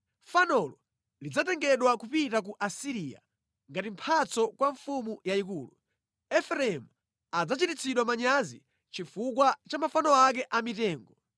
Fanolo lidzatengedwa kupita ku Asiriya ngati mphatso kwa mfumu yayikulu. Efereimu adzachititsidwa manyazi chifukwa cha mafano ake amitengo.